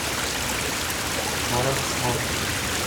воровство